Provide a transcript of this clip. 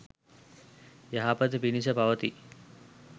යහපත පිණිස පවතියි